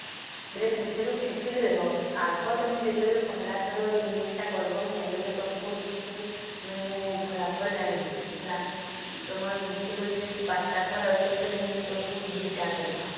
ବୋଲେ ସେଥିରୁ actually ଦେଖ ଆଗ ତମେ ଯେତେ ବେଳେ ପହିଲା ଥର ତମକୁ ସେତିକି ମାନେ ଫଲାଫଲ ନାଇଁ ମିଳେ ହେଲା ତମର ଗୁଟେ ଗଛ ଯଦି ପଞ୍ଚ ତଅ ଫଲ ଅଛି ବୋଲେ ମୁଇଁ ଏବେ ଦୁଇଟା ନେଲେ